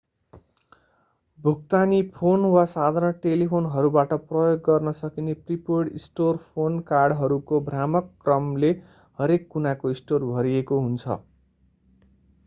भुक्तानी फोन वा साधारण टेलिफोनहरूबाट प्रयोग गर्न सकिने प्रिपेड स्टोर फोन कार्डहरूको भ्रामक क्रमले हरेक कुनाको स्टोर भरिएको हुन्छ